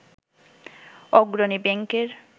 অগ্রণী ব্যাংকের